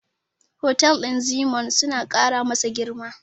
Hotel ɗin Zeennoor suna ƙara masa girma.